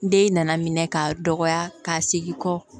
Den nana minɛ ka dɔgɔya ka segin kɔ